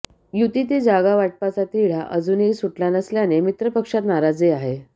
युतीतील जागावाटपाचा तिढा अजुनही सुटला नसल्याने मित्रपक्षात नाराजी आहे